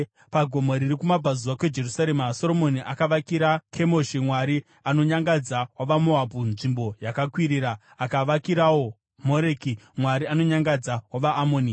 Pagomo riri kumabvazuva kweJerusarema, Soromoni akavakira Kemoshi, mwari anonyangadza wavaMoabhu nzvimbo yakakwirira, akavakirawo Moreki, mwari anonyangadza wavaAmoni.